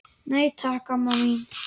Nei, takk, amma mín.